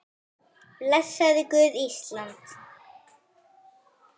Blessaði Guð Ísland?